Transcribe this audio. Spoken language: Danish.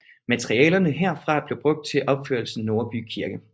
Materialerne herfra blev brugt til opførelse af Nordby Kirke